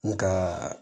N ka